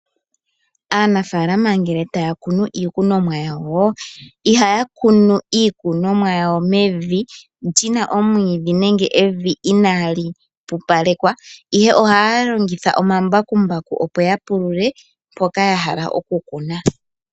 Aanafaalama ngele taya kunu iikunomwa yawo, ihaya kunu iikunomwa yawo mevi li na omwiidhi nenge inali pupalekwa, ihe ohaya longitha omambakumbaku opo ya pulule mpoka ya hala okukuna.